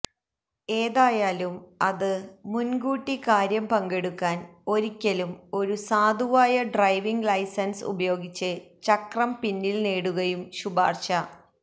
ഏതായാലും അത് മുൻകൂട്ടി കാര്യം പങ്കെടുക്കാൻ ഒരിക്കലും ഒരു സാധുവായ ഡ്രൈവിംഗ് ലൈസൻസ് ഉപയോഗിച്ച് ചക്രം പിന്നിൽ നേടുകയും ശുപാർശ